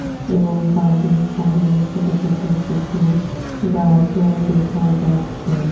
এবং বাঘের সামনে ছোট ছোট কিছু গাছও দেখা যাচ্ছে।